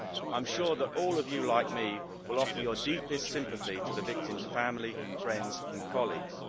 I am sure that all of you, like me, will offer your deepest sympathy to the victim's family, friends and colleagues.